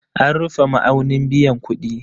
An rufe ma'aunin biyan kuɗi